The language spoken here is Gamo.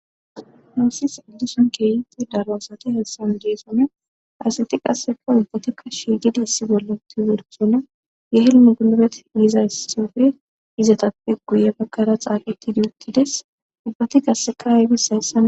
Noossis ildison keeyiti darosati hessan diesome aseti qasseko ubbatikka shiigidi issi bolloti wersona ye helmu gulobet yiiza ys sifire izatappe guye bakkara xaaqiti di uttides ubbati qasseka haybis hayssa